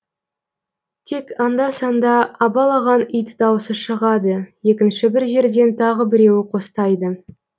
тек анда санда абалаған ит даусы шығады екінші бір жерден тағы біреуі қостайды